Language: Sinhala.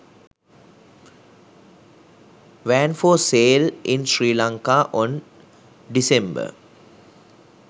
van for sale in sri lanka on December